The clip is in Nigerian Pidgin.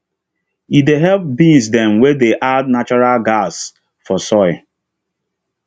e dey help beans dem wey dey add natural gas for soil